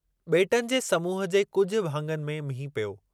ॿेेटनि जे समूहु जे कुझु भाङनि में मींहुं पियो।